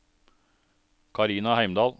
Carina Heimdal